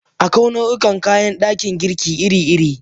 Akwai nau'ikan kayan dakin girki iri-iri.